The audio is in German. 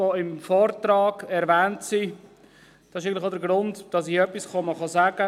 Das ist eigentlich auch der Grund, weshalb ich ans Rednerpult trete.